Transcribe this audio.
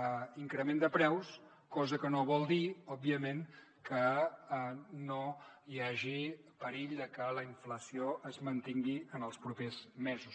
a increment de preus cosa que no vol dir òbviament que no hi hagi perill de que la inflació es mantingui en els propers mesos